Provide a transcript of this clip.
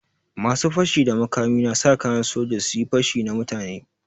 Masu fashi da makami na sa kayan soja su yi pashi na mutane.